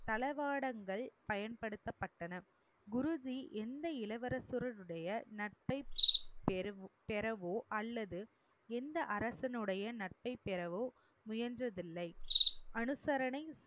தளவாடங்கள் பயன்படுத்தப்பட்டன. குருஜி எந்த இளவரசனுடைய நட்பை பெறவோ அல்லது எந்த அரசனுடைய நட்பை பெறவோ முயன்றதில்லை. அனுசரணை